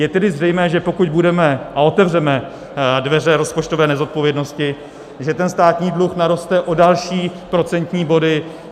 Je tedy zřejmé, že pokud budeme a otevřeme dveře rozpočtové nezodpovědnosti, že ten státní dluh naroste o další procentní body.